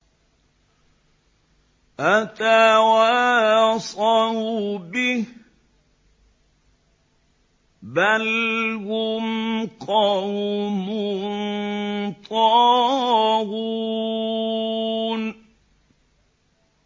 أَتَوَاصَوْا بِهِ ۚ بَلْ هُمْ قَوْمٌ طَاغُونَ